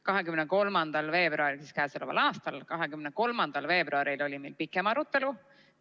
23. veebruaril oli meil pikem arutelu.